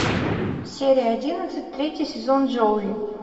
серия одиннадцать третий сезон джоуи